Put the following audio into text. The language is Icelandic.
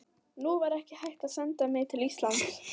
Nú var ekki hægt að senda mig til Íslands.